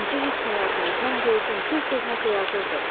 Necə heç nə yazmayıb, mən gördüm, tez-tez nəsə yazırdı.